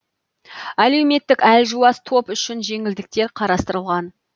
әлеуметтік әлжуаз топ үшін жеңілдіктер қарастырылған